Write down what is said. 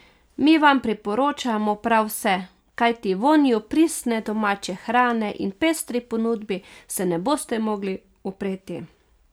Mi vam priporočamo prav vse, kajti vonju pristne domače hrane in pestri ponudbi se ne boste mogli upreti.